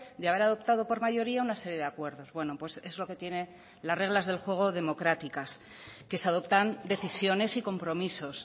de haber adoptado por mayoría una serie de acuerdos bueno pues es lo que tiene las reglas del juego democráticas que se adoptan decisiones y compromisos